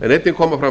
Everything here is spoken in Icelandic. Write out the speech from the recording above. en einnig koma fram